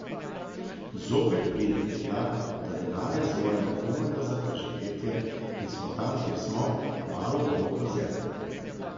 Zopet pridemo tja, da denarja zmoremo komajda za prezivetje in smo tam kjer smo, kmalu bomo pod zemljo.